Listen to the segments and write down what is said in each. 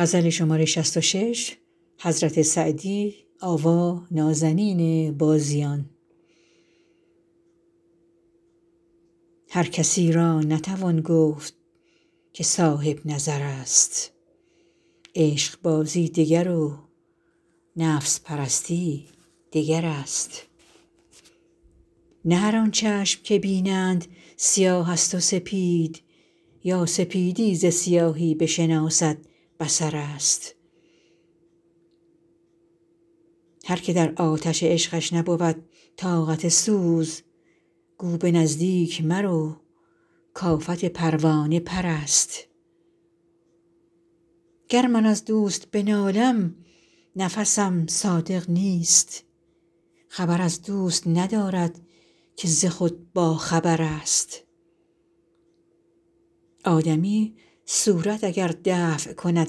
هر کسی را نتوان گفت که صاحب نظر است عشقبازی دگر و نفس پرستی دگر است نه هر آن چشم که بینند سیاه است و سپید یا سپیدی ز سیاهی بشناسد بصر است هر که در آتش عشقش نبود طاقت سوز گو به نزدیک مرو کآفت پروانه پر است گر من از دوست بنالم نفسم صادق نیست خبر از دوست ندارد که ز خود باخبر است آدمی صورت اگر دفع کند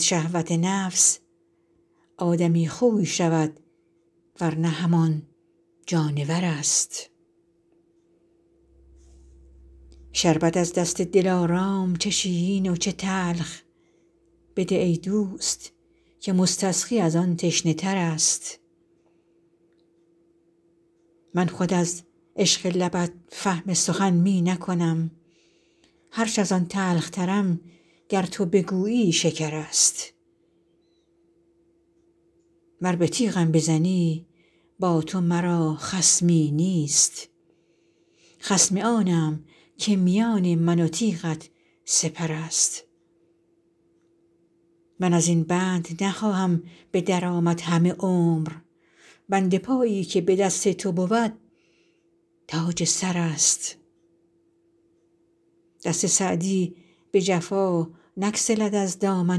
شهوت نفس آدمی خوی شود ور نه همان جانور است شربت از دست دلارام چه شیرین و چه تلخ بده ای دوست که مستسقی از آن تشنه تر است من خود از عشق لبت فهم سخن می نکنم هرچ از آن تلخترم گر تو بگویی شکر است ور به تیغم بزنی با تو مرا خصمی نیست خصم آنم که میان من و تیغت سپر است من از این بند نخواهم به در آمد همه عمر بند پایی که به دست تو بود تاج سر است دست سعدی به جفا نگسلد از دامن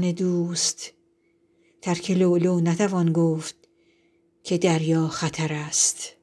دوست ترک لؤلؤ نتوان گفت که دریا خطر است